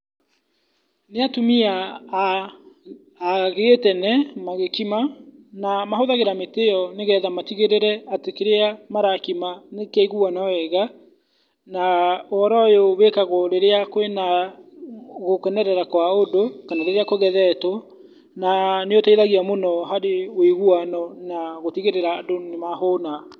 Nĩ atumia a, a gĩtene magĩkima, na mahũthagĩra mĩtĩ ĩyo nĩgetha matigĩrĩre atĩ kĩria marakima nĩkĩaiguana wega, na ũhoro ũyũ wĩkagwo rĩrĩa kwĩna gũkenerera kwa ũndũ kana rĩrĩa kũgethetwo na nĩ ũteithagia mũno harĩ ũiguano na gũtigĩrĩra andũ nĩ mahũna.